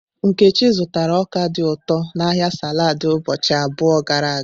Nkechi zụtara ọka dị ụtọ n'ahịa saladi ụbọchị abụọ gara aga.